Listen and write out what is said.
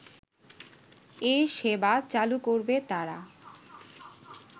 এ সেবা চালু করবে তারা